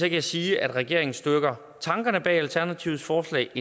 jeg sige at regeringen støtter tankerne bag alternativets forslag